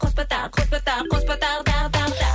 қоспа тағы қоспа тағы тағы тағы тағы